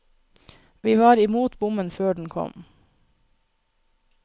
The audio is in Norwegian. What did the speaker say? Vi var i mot bommen før den kom.